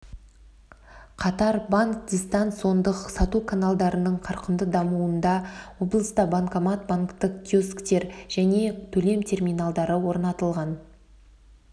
қатар банк дистанциондық сату каналдарын қарқынды дамытуда облыста банкомат банктік киосктер және төлем терминалдары орнатылған